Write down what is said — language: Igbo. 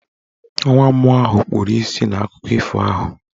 Nwa mmụọ ahụ kpuru isi n'akụkọ ifo ahụ.